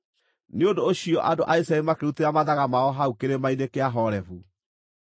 Nĩ ũndũ ũcio andũ a Isiraeli makĩrutĩra mathaga mao hau kĩrĩma-inĩ kĩa Horebu.